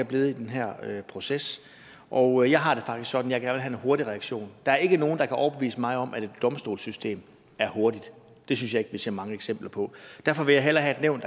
blevet i den her proces og jeg har det faktisk sådan at jeg have en hurtig reaktion der er ikke nogen der kan overbevise mig om at et domstolssystem er hurtigt det synes jeg ikke vi ser mange eksempler på derfor vil jeg hellere have et nævn